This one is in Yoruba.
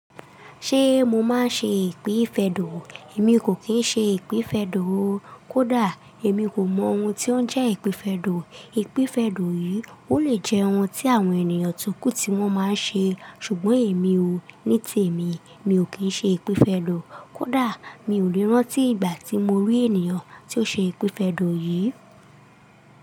Ṣe mo máa ń ṣe ìpífẹ́dọ̀? Èmi kò kín ṣe ìpífẹ́dọ̀. Kódà, èmi kò mọ ohun tí ó ń jẹ́ ìpífẹ́dọ̀. Ìpífẹ́dọ̀ yìí, ó lè jẹ́ ohun tí àwọn ènìyàn tókù tí wọ́n máa ń ṣe, ṣùgbọ́n èmi ò. Ní tèmi, mi ò kín ṣe ìpífẹ́dọ̀. Kódà, mi ò lè rántí ìgbà tí mo rí ènìyàn tí ó ṣe ìpífẹ́dọ̀ yìí.